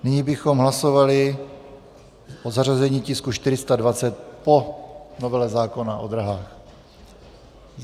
Nyní bychom hlasovali o zařazení tisku 420 po Novele zákona o dráhách.